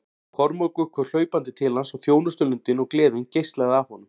Kormákur kom hlaupandi til hans og þjónustulundin og gleðin geislaði af honum.